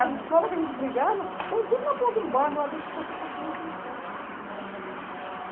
As escolas que a gente brigava, estão tudo na ponta do bairro, lá dentro, o pessoal continua sem escola.